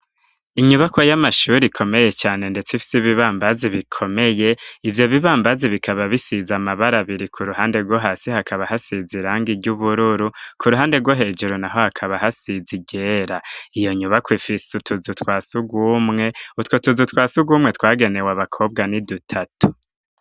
Inyubako y'amashure, ikomeye cane, ndetse ifise, ibibambazi bikomeye; ivyo bibambazi, bikaba bisize amabara biri; ku ruhande rwo hasi, hakaba, hasize irangi ry'ubururu, ku ruhande rwo hejuru naho, hakaba, hasize iryera; iyo nyubako, ifise utuzu twa surwumwe, utwo tuzu twa surwumwe, twagenewe abakobwa, ni dutatu.